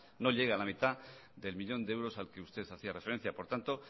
no llega a la mitad del millón de euros al que usted hacía referencia por tanto